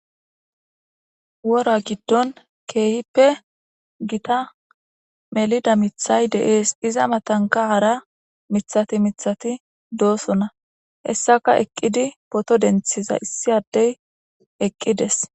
Wora giddon keehippe gita melida miththay de'ees. Iza matanka hara miththati miththati doosona. Hessaka eqqidi poto denthiza issi addey eqqides.